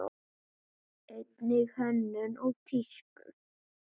Einnig hönnun og tísku.